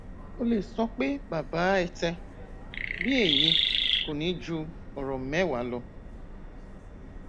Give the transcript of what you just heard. ó lè sọ pé baba ẹtẹ bí èyí kò ní ju ọrọ mẹwàá lọ